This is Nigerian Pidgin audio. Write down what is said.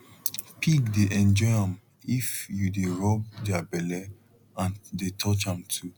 pig dey enjoy am if you dey rub their belle and dey touch am too